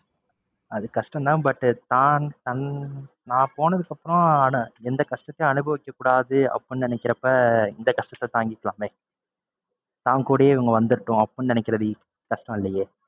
அது கஷ்டம் தான் but தான் தன் நான் போனதுக்கு அப்பறம் அதான் எந்த கஷ்டத்தையும் அனுபவிக்ககூடாது அப்படின்னு நினைக்கிறப்ப இந்த கஷ்டத்தை தாங்கிக்கலாமே. தான் கூடயே இவங்க வந்துரட்டும் அப்படின்னு நினைக்கிறது கஷ்டம் இல்லையே.